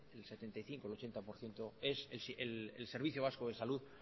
el setenta y cinco por ciento un ochenta por ciento es el servicio vasco de salud